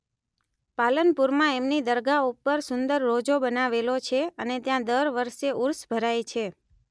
પાલનપુરમાં એમની દરગાહ ઉપર સુંદર રોજો બનાવેલો છે અને ત્યાં દર વર્ષે ઉર્ષ ભરાય છે